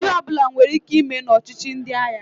Ihe ọbụla nwere ike ime na ọchịchi ndị agha.